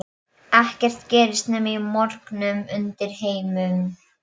Ekkert gerist nema í morknum undirheimum.